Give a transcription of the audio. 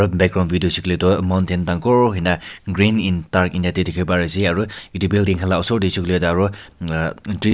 background view hoise koile tu mountent dagur hoike na green dark green te dekhi pari ase aru etu building laga osor te hoise koile tu--